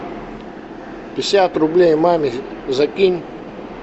пятьдесят рублей маме закинь